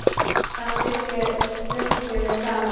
Þá bjuggum við saman.